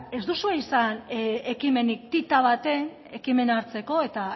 ez duzue izan ekimenik ti ta baten ekimena hartzeko eta